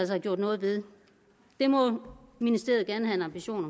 have gjort noget ved det må ministeriet gerne have en ambition